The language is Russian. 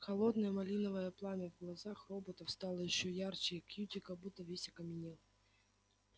холодное малиновое пламя в глазах роботов стало ещё ярче а кьюти как будто весь окаменел